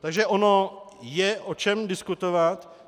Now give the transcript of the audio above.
Takže ono je o čem diskutovat.